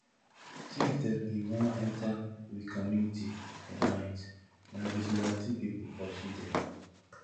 tif dem bin wan enta we community for night na vigilantee pipu pursue dem